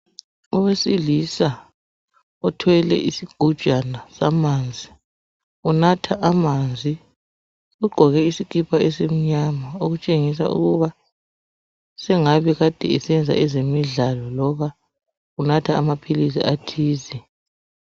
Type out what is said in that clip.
Owesilisa othwele isigujana samanzi. Unatha amanzi, ugqoke isikipa esimnyama. Okutshengisa ukuba sengabe Kade esenza ezemidlalo loba unatha amaphilisi athize.